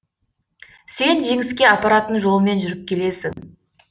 сен жеңіске апаратын жолмен жүріп келесің